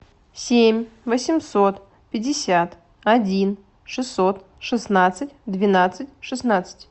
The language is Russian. семь восемьсот пятьдесят один шестьсот шестнадцать двенадцать шестнадцать